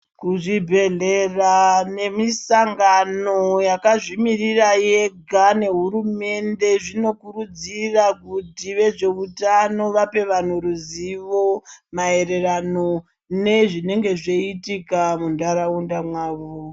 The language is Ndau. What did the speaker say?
Kuzvibhedhlera nemisangano yakazvimirira yega nehurumende zvino kurudzira kuti vezveutano vape vantu ruzivo maererano nezvinenge zvichiitika muntaraunda mwavo.